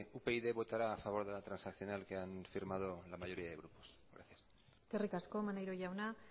upyd votará a favor de la transaccional que han firmado la mayoría de grupos gracias eskerrik asko maneiro jauna